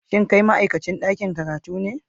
Shin kai ma'aikacin dakin karatu ne?